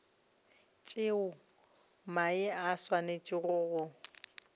tšeo mae a swanetšego go